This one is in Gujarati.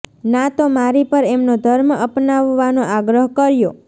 ના તો મારી પર એમનો ધર્મ અપનાવવાનો આગ્રહ કર્યો